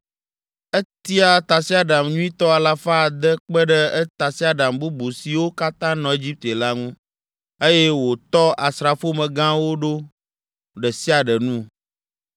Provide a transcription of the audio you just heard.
Etia tasiaɖam nyuitɔ alafa ade kpe ɖe tasiaɖam bubu siwo katã nɔ Egipte la ŋu, eye wòtsɔ asrafomegãwo ɖo ɖe sia ɖe nu.